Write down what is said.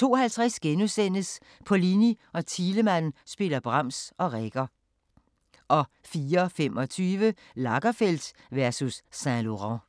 02:50: Pollini og Thielemann spiller Brahms og Reger * 04:25: Lagerfeld versus Saint-Laurent